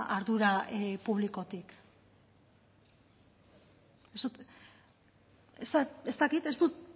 ardura publikotik ez dakit